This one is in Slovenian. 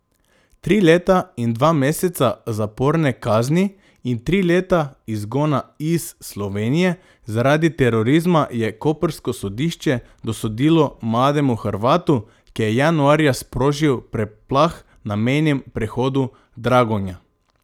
Tri leta in dva meseca zaporne kazni in tri leta izgona iz Slovenije zaradi terorizma je koprsko sodišče dosodilo mlademu Hrvatu, ki je januarja sprožil preplah na mejnem prehodu Dragonja.